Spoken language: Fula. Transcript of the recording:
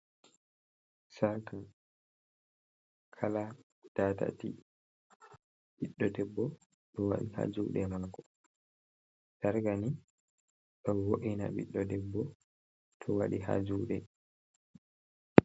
Sarka kala datati ɓiɗɗo debbo to waɗi ha juɗe mako. sarkani, ɗo wo’ina biɗɗo debbo to waɗi ha juɗe.